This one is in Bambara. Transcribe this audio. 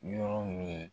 Yɔrɔ min